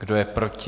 Kdo je proti?